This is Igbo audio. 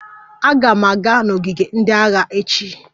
Aga m aga n'ogige ndị agha echi